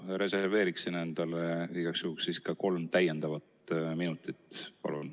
Ma reserveeriksin endale igaks juhuks ka kolm täiendavat minutit, palun.